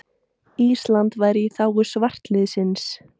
Ísland væru í þágu svartliðsins.